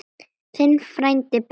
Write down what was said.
Þinn frændi Bergur.